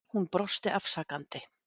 Hún brosti afsakandi.